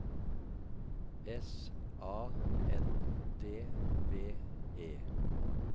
S A N D V E